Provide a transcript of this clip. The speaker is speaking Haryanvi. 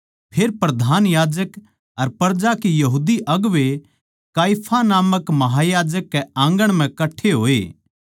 फेर प्रधान याजक अर प्रजा के यहूदी अगुवें काइफा नामक महायाजक कै आँगण म्ह कट्ठे होए